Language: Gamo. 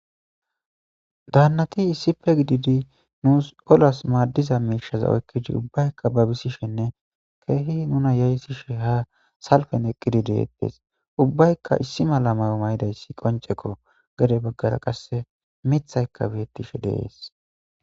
danati issippe gidiidi nuus ollas maddiza miishshaza oykidi ubbaykka babisishshenne ke'hi nuna yayissishshe ha salfen eqqidi de'etees ubbaykka issi mala mayo mayidayssi qoncekko gede baggara qasse miiththaykka beettishshe de'ees